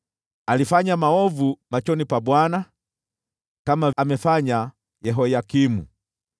Alifanya maovu machoni pa Bwana , kama alivyofanya Yehoyakimu.